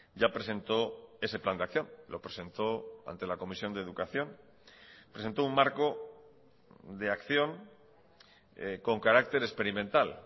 ya presentó ese plan de acción lo presentó ante la comisión de educación presentó un marco de acción con carácter experimental